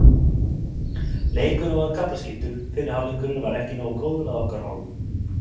Leikurinn var kaflaskiptur, fyrri hálfleikurinn var ekki nógu góður að okkar hálfu.